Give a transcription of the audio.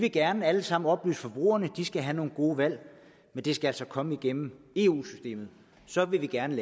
vil gerne alle sammen oplyse forbrugerne de skal have nogle gode valg men det skal altså komme igennem eu systemet så vil vi gerne